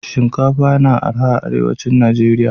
Shinkafa na araha arewacin nageria